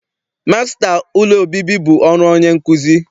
Masịta ụlọ obibi bụ ọrụ onye nkuzi.